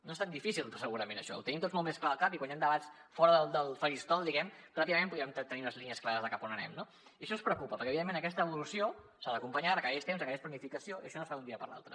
no és tan difícil segurament això ho tenim tots molt més clar al cap i quan hi han debats fora del faristol diguem ne ràpidament podríem tenir unes línies clares de cap a on anem no i això ens preocupa perquè evidentment aquesta evolució s’ha d’acompanyar requereix temps requereix planificació i això no es fa d’un dia per l’altre